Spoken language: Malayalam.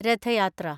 രഥ യാത്ര